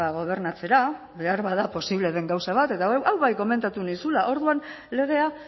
gobernatzera beharbada posible den gauza bat eta hau bai komentatu nizula orduan legea